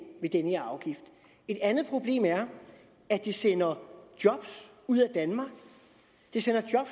ved den her afgift et andet problem er at det sender job ud af danmark det sender job